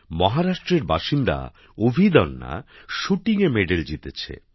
মহারাষ্ট্রের বাসিন্দা অভিদন্যা শ্যুটিংয়ে্ পদক জিতেছেন